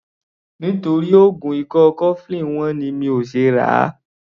Nítorí oògùn ikọ́ cofflin wọ́n ni mi ò ṣe ràá.